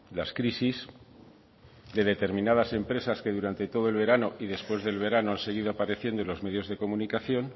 las crisis de determinadas empresas que durante todo el verano y después del verano han seguido apareciendo en los medios de comunicación